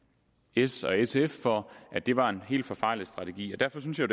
s og sf for at det var en helt forfejlet strategi derfor synes jeg